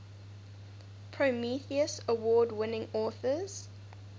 prometheus award winning authors